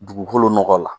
Dugukolo nɔgɔ la